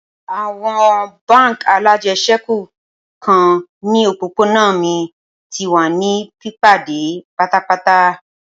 Awọn bánk alájẹsẹ́kù nikan ni opopona mi ti wa ni pipade patapata.